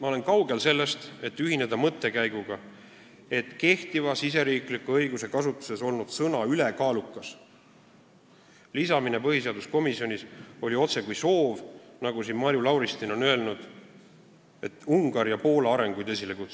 Ma olen kaugel sellest, et ühineda mõttekäiguga, nagu oleks kehtivas riigisiseses õiguses kasutusel olnud sõna "ülekaalukas" lisamine põhiseaduskomisjonis otsekui soov Ungari ja Poola arenguid esile kutsuda, nagu Marju Lauristin on öelnud.